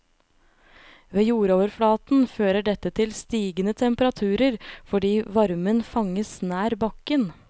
Ved jordoverflaten fører dette til stigende temperaturer, fordi varmen fanges nær bakken.